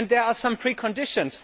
There are some preconditions.